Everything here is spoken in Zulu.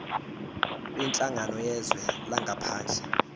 kwinhlangano yezwe langaphandle